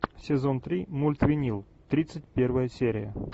сезон три мульт винил тридцать первая серия